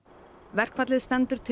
verkfallið